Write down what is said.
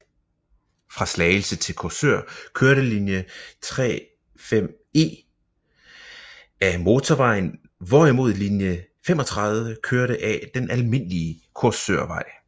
Fra Slagelse til Korsør kørte linje 35E af motorvejen hvorimod linje 35 kørte af den almindelige Korsørvej